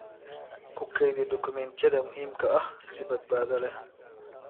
Ku kaydi dukumeentiyada muhiimka ah si badbaado leh.